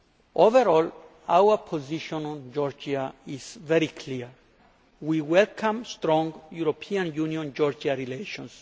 Overall our position on Georgia is very clear. We welcome strong European Union Georgia relations.